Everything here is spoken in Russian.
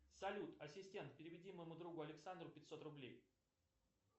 салют ассистент переведи моему другу александру пятьсот рублей